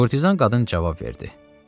Kurtizan qadın cavab verdi: